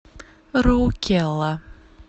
роукела